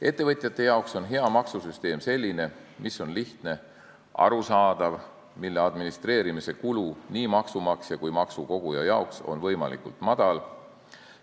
Ettevõtjate jaoks on hea maksusüsteem selline, mis on lihtne ja arusaadav ning mille administreerimise kulu nii maksumaksja kui ka maksukoguja jaoks on võimalikult madal.